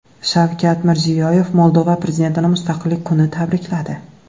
Shavkat Mirziyoyev Moldova prezidentini Mustaqillik kuni tabrikladi.